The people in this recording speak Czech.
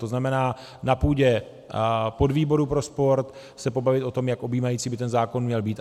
To znamená, na půdě podvýboru pro sport se pobavit o tom, jak objímající by ten zákon měl být.